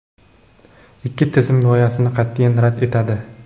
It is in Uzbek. ikki tizim g‘oyasini qatʼiyan rad etadi.